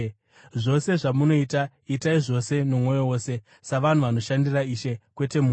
Zvose zvamunoita, itai zvose nomwoyo wose, savanhu vanoshandira Ishe, kwete munhu,